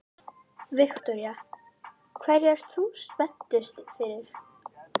Viktoría: Hverju ert þú spenntust fyrir?